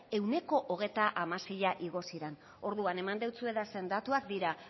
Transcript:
ehuneko hogeita hamaseia igo ziren orduan eman deutsuedazan datuak dira